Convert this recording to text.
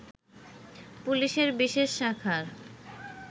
পুলিশের বিশেষ শাখার